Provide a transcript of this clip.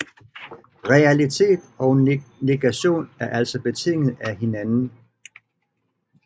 Realitet og negation er altså betinget af hinanden